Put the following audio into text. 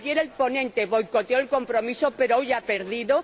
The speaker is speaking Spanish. Ayer el ponente boicoteó el compromiso, pero hoy ha perdido.